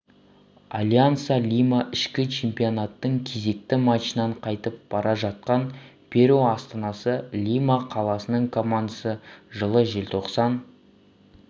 альянса лима ішкі чемпионаттың кезекті матчынан қайтып бара жатқан перу астанасы лима қаласының командасы жылы желтоқсан